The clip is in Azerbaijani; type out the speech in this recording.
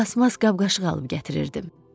Plastmas qab-qaşıq alıb gətirirdim.